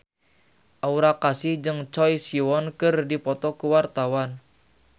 Aura Kasih jeung Choi Siwon keur dipoto ku wartawan